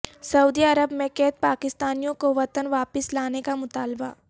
سعودی Arab میں قید پاکستانیوں کو وطن واپس لانے کا مطالبہ